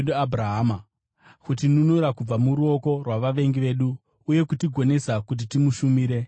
kutinunura kubva muruoko rwavavengi vedu, uye kutigonesa kuti timushumire tisingatyi,